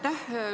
Aitäh!